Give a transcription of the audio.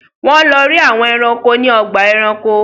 Wón ló rí àwòn ẹranko ní Ọgbà ẹranko.